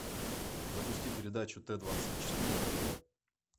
запусти передачу т двадцать четыре на тв